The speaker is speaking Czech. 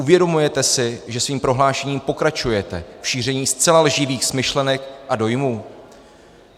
Uvědomujete si, že svým prohlášením pokračujete v šíření zcela lživých smyšlenek a dojmů?